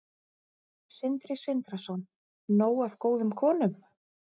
Sindri Sindrason: Nóg af góðum konum?